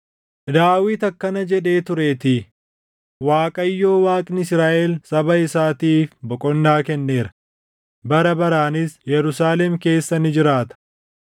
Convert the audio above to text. Daawit akkana jedhee tureetii; “ Waaqayyoo Waaqni Israaʼel saba isaatiif boqonnaa kenneera; bara baraanis Yerusaalem keessa ni jiraata;